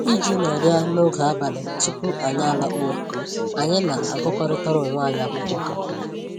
Iji nọrịa n'oge abalị tupu anyị alakpuo, anyị na-agụkọrịtara onwe anyị akwụkwọ